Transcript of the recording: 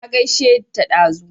Na gaishe ta dazu